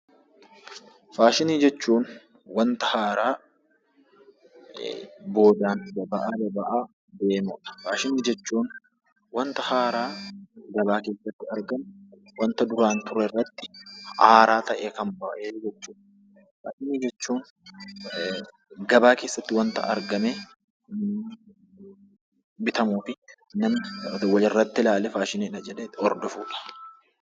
Faashinii jechuun wanta haaraa gabaa keessatti argamu isa duraan ture irratti haaraa ta'ee kan ba'e jechuu dha. Faashinii jechuun gabaa keessatti wanta argamee bitamuu fi wanta tokko irratti ilaalee faashiniidha jedhee hordofuu dha.